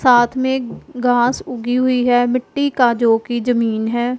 साथ में घास उगी हुई है मिट्टी का जोकि जमीन है।